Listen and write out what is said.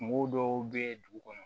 Kungo dɔw be ye dugu kɔnɔ